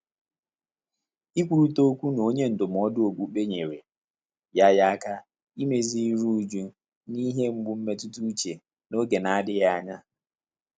Ị́kwúrị́tà ókwú nà ọ́nyé ndụ́mọ́dụ́ ókpùkpé nyèrè yá yá áká ímézì írú újú nà ìhè mgbú mmétụ́tà úchè n’ógè nà-ádị́bèghị́ ányá.